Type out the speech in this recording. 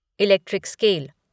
electric scale